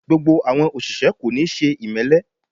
Gbogbo àwọn òṣìṣẹ́ kò níí ṣe ìmẹ́lẹ́